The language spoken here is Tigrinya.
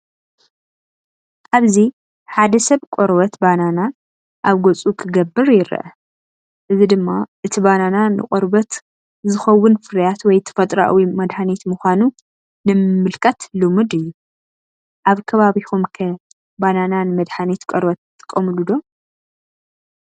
ኣብዚ ሓደ ሰብ ቆርበት ባናና ኣብ ገጹ ክገብር ይርአ። እዚ ድማ እቲ ባናና ንቆርበት ዝኸውን ፍርያት ወይ ተፈጥሮኣዊ መድሃኒት ምዃኑ ንምምልካት ልሙድ እዩ። ኣብ ከባቢኩም ከ ባናና ንመድሓኒት ቆርበት ትጥቀመሉ ዶ?